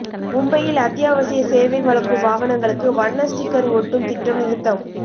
மும்பையில் அத்தியாவசிய சேவை வழங்கும் வாகனங்களுக்கு வண்ண ஸ்டிக்கர் ஒட்டும் திட்டம் நிறுத்தம்